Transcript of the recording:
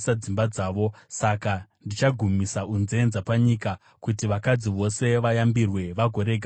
“Saka ndichagumisa unzenza panyika, kuti vakadzi vose vayambirwe vagorega kutevedzera.